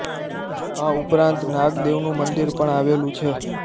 આ ઉપરાંત નાગ દેવનું મંદિર પણ આવેલું છે